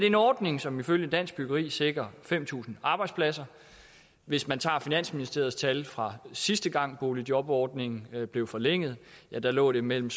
en ordning som ifølge dansk byggeri sikrer fem tusind arbejdspladser hvis man tager finansministeriets tal fra sidste gang boligjobordningen blev forlænget lå det mellem